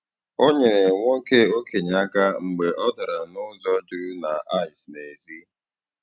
Ọ nyerè nwoke okenye aka mgbe ọ darà n’ụzọ jụrụ na ìce n’èzí.